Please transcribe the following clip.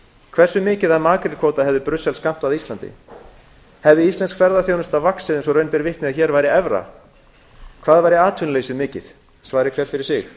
hversu mikið af makrílkvóta hefði brussel skammtað íslandi hefði íslensk ferðaþjónusta vaxið eins og raun ber vitni ef hér væri evra hversu mikið væri atvinnuleysið svari hver fyrir sig